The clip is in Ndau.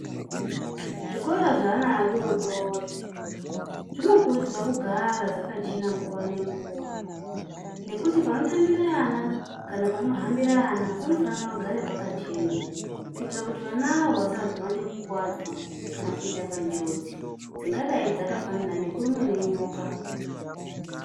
Zvikora zveana adodori zvinokurudzirwa kugara zvakachena nguwa nenguwa nekuti panotambire ana kana panohambire ana panofanire kugara pakachena kuitira kuti vanawo vasazoone kuwadzwa kana kupinde panjodzi dzingadai dzakafanana nekurumwa ngenyoka.